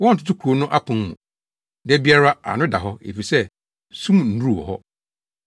Wɔntoto kurow no apon mu. Da biara ano da hɔ. Efisɛ sum nnuru wɔ hɔ.